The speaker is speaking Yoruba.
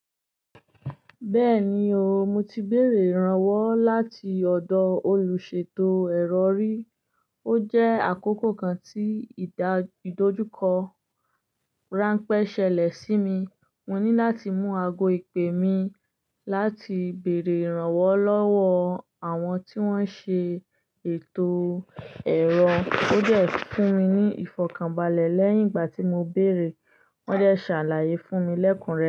Bẹ́ẹ̀ni o, mo ti béèrè ìrànwọ́ láti ọ̀dọ̀ olùṣètò ẹ̀rọ rí. Ó jẹ́ àkókò kan tí ìdojuko ránpẹ́ ṣẹlẹ̀ sí mi. Mo ní láti mú ago ìpè mi láti bèèrè ìrànwọ́ lọ́wọ́ àwọn tí wọ́n ṣe ètò ẹ̀rọ. Ó de fún mi ní ìfọ̀kànbalẹ̀ lẹ́yìn ìgbà tí mo béèrè. Wọ́n de ṣàlàyé fún mi lẹ́kun re.